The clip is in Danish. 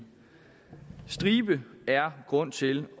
stribe er grund til